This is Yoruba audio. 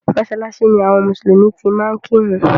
Mọ́sálásí ni àwọn mùsùlùmí ti máa ń kírun.